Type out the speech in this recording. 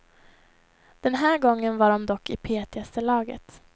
Den här gången var de dock i petigaste laget.